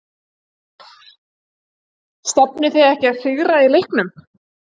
Stefnið þið ekki að sigri í leiknum?